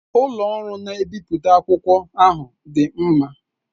Ụlọ ọrụ na-ebipụta akwụkwọ ahụ dị mma.